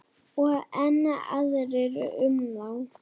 Og enn aðrir um þá.